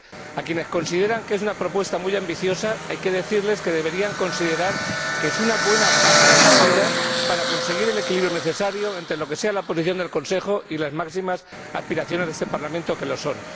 A quienes consideran que es una propuesta muy ambiciosa, hay que decirles que deberían considerar que es una buena base de partida para conseguir el equilibrio necesario entre lo que sea la posición del Consejo y las máximas aspiraciones de este Parlamento, que lo son.